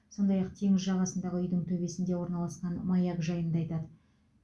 сондай ақ теңіз жағасындағы үйдің төбесінде орналасқан маяк жайында айтады